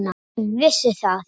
Ég vissi það!